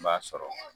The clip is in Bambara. N b'a sɔrɔ